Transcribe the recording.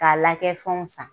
K'a lakɛ fɛnw san.